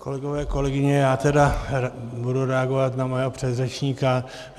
Kolegové, kolegyně, já tedy budu reagovat na mého předřečníka.